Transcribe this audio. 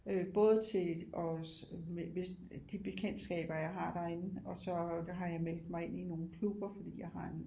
Øh både til også hvis de bekendskaber jeg har derinde og så har jeg meldt mig ind i nogle klubber fordi jeg har en